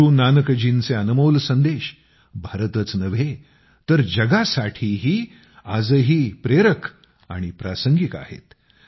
गुरू नानकजींचे अनमोल संदेश भारताच नव्हे तर जगासाठी आजही प्रेरक आणि प्रासंगिक आहेत